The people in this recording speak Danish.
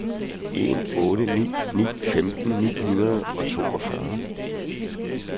en otte ni ni femten ni hundrede og toogfyrre